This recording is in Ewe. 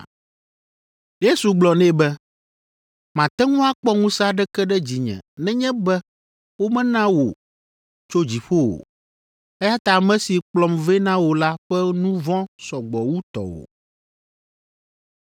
Yesu gblɔ nɛ be, “Màte ŋu akpɔ ŋusẽ aɖeke ɖe dzinye nenye be womena wò tso dziƒo o, eya ta ame si kplɔm vɛ na wò la ƒe nu vɔ̃ sɔ gbɔ wu tɔwò.”